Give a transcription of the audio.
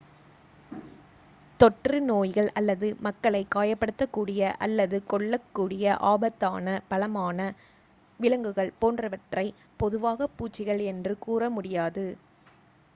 தொற்று நோய்கள் அல்லது மக்களை காயப்படுத்தக்கூடிய அல்லது கொள்ளக்கூடிய ஆபத்தான பலமான விலங்குகள் போன்றவற்றை பொதுவாக பூச்சிகள் என்று கூற முடியாது